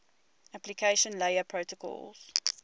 application layer protocols